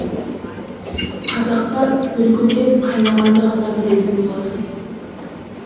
қазаққа бүлкілдеп қайнағанды ғана білетін боласың